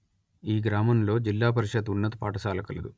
ఈ గ్రామంలో జిల్లా పరిషత్ ఉన్నత పాఠశాల కలదు